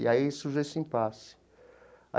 E aí surgiu esse impasse.